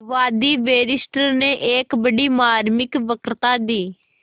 वादी बैरिस्टर ने एक बड़ी मार्मिक वक्तृता दी